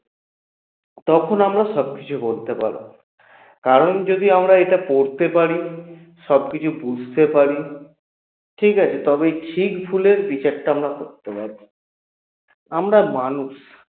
তখন আমরা সবকিছু বলতে পারব কারণ যদি আমরা এটা পড়তে পারি সবকিছু বুঝতে পারি ঠিকাছে? তবে ঠিক ভুলের বিচারটা আমরা করতে পারব আমরা মানুষ